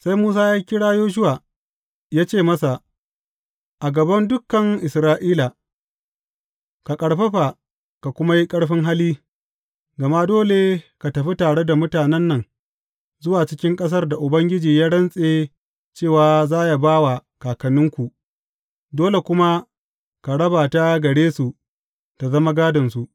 Sai Musa ya kira Yoshuwa, ya ce masa a gaban dukan Isra’ila, Ka ƙarfafa, ka kuma yi ƙarfin hali, gama dole ka tafi tare da mutanen nan zuwa cikin ƙasar da Ubangiji ya rantse cewa za ba wa kakanninku, dole kuma ka raba ta gare su ta zama gādonsu.